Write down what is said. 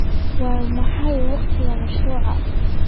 Waa maxay wakhtiga mashruucu?